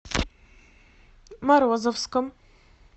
морозовском